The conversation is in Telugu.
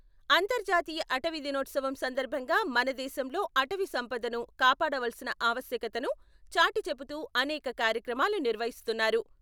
అంతర్జాతీయ అటవీ దినోత్సవం సందర్భంగా మనదేశంలో అటవీ సంపదను కాపాడవలసిన ఆవశ్యకతను చాటిచెబుతూ అనేక కార్యక్రమాలు నిర్వహిస్తున్నారు.